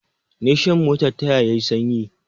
Nation mota ta ya yi sanyi